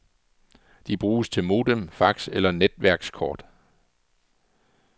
De bruges til modem, fax eller netværkskort.